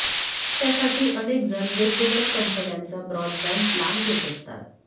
त्यासाठी अनेक जण वेगवेगळ्या कंपन्यांचा ब्रॉडबँड प्लान घेत असतात